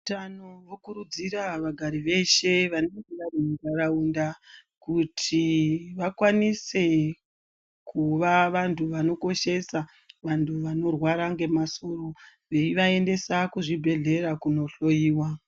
Veutano, vokurudzira vagari veshe, vanenge vari mundaraunda kuti vakwanise kuva vantu vanokoshesa vantu vanorwara ngemasoro, veyivaendesa kuzvibhedhlera kunohloyiwa.